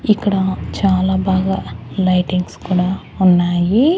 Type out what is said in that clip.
ఇక్కడ చాలా బాగా లైటింగ్స్ కూడా ఉన్నాయి.